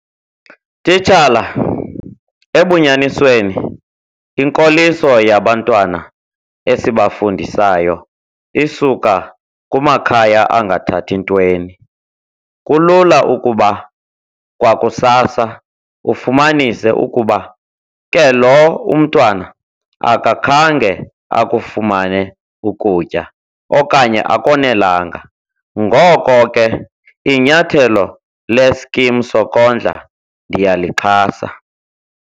Titshala, ebunyanisweni, inkoliso yabantwana esibafundisayo isuka kumakhaya angathathi ntweni. Kulula ukuba kwakusasa ufumanise ukuba ke loo umntwana akakhange akufumane ukutya okanye akonelanga. Ngoko ke inyathelo leskimi sokondla ndiyalixhasa.